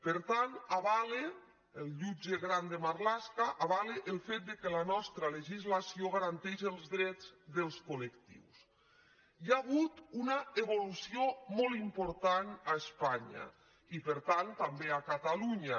per tant el jutge grande marlaska avala el fet que la nostra legislació garanteix els drets dels colhi ha hagut una evolució molt important a espanya i per tant també a catalunya